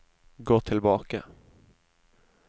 gå tilbake